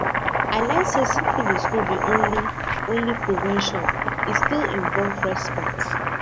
i learn say syphilis no be only only prevention e still involve respect